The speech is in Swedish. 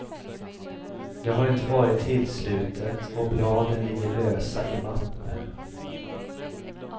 Det har inte varit tillslutet och bladen ligger lösa i mappen.